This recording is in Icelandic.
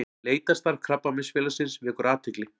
Leitarstarf Krabbameinsfélagsins vekur athygli